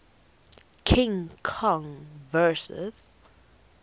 king kong vs